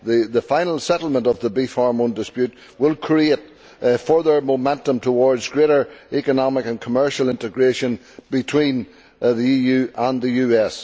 The final settlement of the beef hormone dispute will create further momentum towards greater economic and commercial integration between the EU and the US.